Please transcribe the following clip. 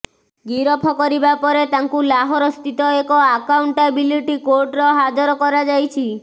ଗିରଫ କରିବା ପରେ ତାଙ୍କୁ ଲାହୋର ସ୍ଥିତ ଏକ ଆକାଉଣ୍ଟାବିଲିଟି କୋର୍ଟର ହାଜର କରାଯାଇଛି